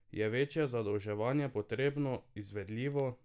Je večje zadolževanje potrebno, izvedljivo?